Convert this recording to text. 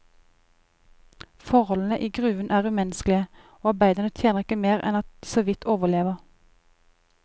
Forholdene i gruven er umenneskelige, og arbeiderne tjener ikke mer enn at de såvidt overlever.